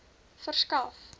verskaf